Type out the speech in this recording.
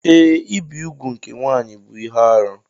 Ee, ibi úgwù nke nwanyị bụ ihe arụ.